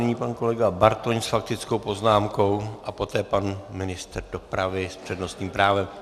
Nyní pan kolega Bartoň s faktickou poznámkou a poté pan ministr dopravy s přednostním právem.